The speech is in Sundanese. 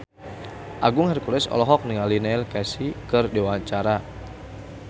Agung Hercules olohok ningali Neil Casey keur diwawancara